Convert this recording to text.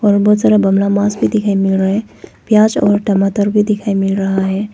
बहुत सारा बंगला मास्क भी दिखाई मील रहा है प्याज और टमाटर भी दिखाई मील रहा है।